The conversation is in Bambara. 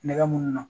Nɛgɛ munnu na